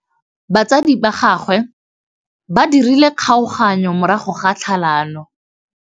Batsadi ba gagwe ba dirile kgaoganyô ya dithoto morago ga tlhalanô.